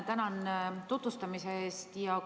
Tänan tutvustamise eest!